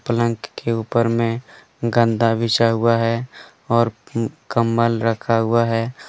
पलंग के ऊपर में गंदा बिछा हुआ है और कंबल रखा हुआ हैं।